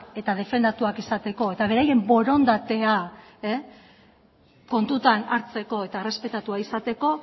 eta defendatuak izateko eta beraien borondatea kontutan hartzeko eta errespetatua izateko